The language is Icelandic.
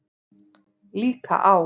Líka á